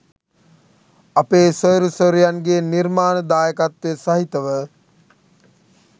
අපේ සොයුරු සොයුරියන්ගේ නිර්මාණ දායකත්වය සහිතව